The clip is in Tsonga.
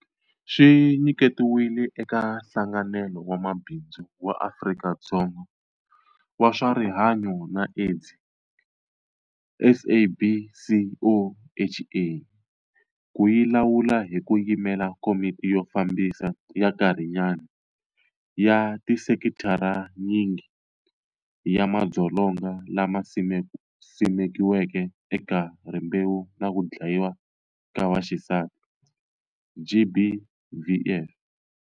Swi nyiketiwile eka Nhlanganelo wa Mabindzu wa Afrika-Dzonga wa swa Rihanyu na Aids, SABCOHA, ku yi lawula hi ku yimela Komiti yo Fambisa ya Nkarhinyana ya tisekitharanyingi ya madzolonga lama simekiweke eka rimbewu na ku dlayiwa ka vaxisati, GBVF.